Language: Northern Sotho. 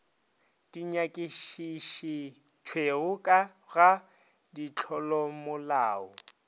di nyakišišitšwego ka ga ditlolomolao